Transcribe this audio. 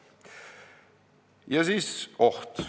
Ja nüüd oht.